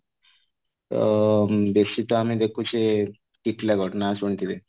ତ ବେଶି ତ ଆମେ ଦେଖୁଚେ ଟିଟଲାଗଡ ନାଆ ଶୁଣିଥିବେ